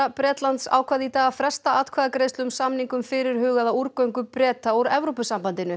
Bretlands ákvað í dag að fresta atkvæðagreiðslu um samning um fyrirhugaða Breta úr Evrópusambandinu